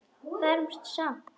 Fermt samt.